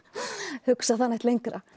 hugsa það neitt lengra